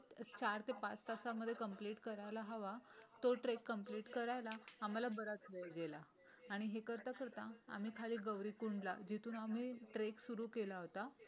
चार ते पाच तासांमध्ये कंप्लिट करायला हवा तो ट्रेक करायला आम्हाला बराच वेळ गेला. आणि हे करता करता आम्ही खाली गौरी कुंडला जिथून आम्ही ट्रेक सुरू केला होता.